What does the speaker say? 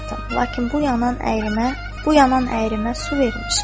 Lakin bu yanan əyrimə, bu yanan əyrimə su verin.